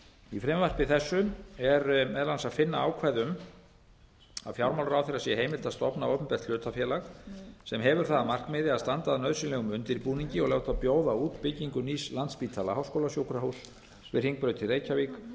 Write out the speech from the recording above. í frumvarpi þessu er meðal annars að finna ákvæði um að fjármálaráðherra sé heimilt stofna opinbert hlutafélag sem hefur það að markmiði að standa að nauðsynlegum undirbúningi og láta bjóða út byggingu nýs landspítala háskólasjúkrahúss við hringbraut í reykjavík